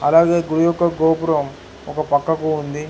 అలాగే గుడి యొక్క గోపురం ఒక పక్కకు ఉంది.